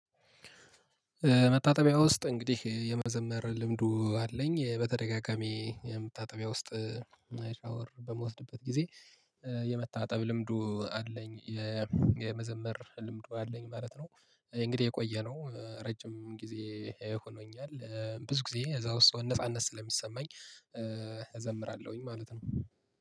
መታጠቢያ ውስጥ እንግዲህ የመዘመር ልምዱ አለኝ በተደጋጋሚ መታጠቢያ ውስጥ ሻወር በመወስድበት ጊዜ የመታጠብ ልምዱ አለኝ። የመዘመር ልምዱ አለኝ ማለት ነው። እንግዲህ የቆየነው ረጅም ጊዜ ሆኖኛል ብዙ ጊዜ እዛው ውስጥ ነጻነት ስለሚሰማኝ። እዘምራለሁኝ ማለት ነው።